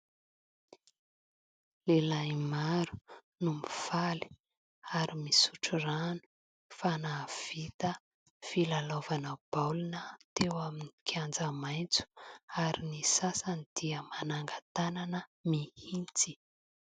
Lehilahy maro no mifaly ary misotro rano fa nahavita filalaovanao baolina teo amin'ny kianja maintso ary ny sasany dia mananga tanana mihintsy.